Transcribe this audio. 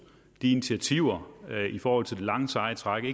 de initiativer i forhold til det lange seje træk vi